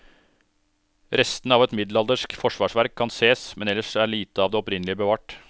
Restene av et middelaldersk forsvarsverk kan ses, men ellers er lite av det opprinnelige bevart.